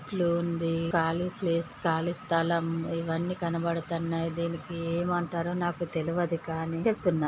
ఇట్లు ఉంది ఖాళీ ప్లేస్ కాలి స్థలం ఇవన్నీ కనబడతన్నాయి. దీనికి ఏమంటారో నాకు తెలియదు కానీ చెప్తున్నా.